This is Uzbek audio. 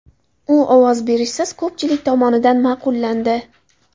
U ovoz berishsiz ko‘pchilik tomonidan ma’qullandi.